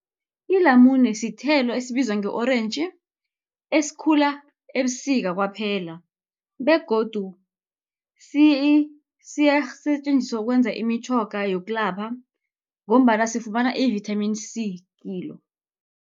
Ilamune sithelo esibizwa nge-orentji, esikhula ebusika kwaphela, begodu siyatjenziswa ukwenza imitjhoga yokulapha, ngombana sifumana i-vithamini C kilo.